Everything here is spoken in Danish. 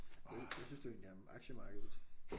Hvad hvad synes du egentlig om aktiemarkedet